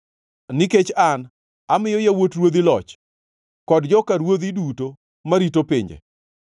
Nikech an, amiyo yawuot ruodhi loch kod joka ruodhi duto marito pinje.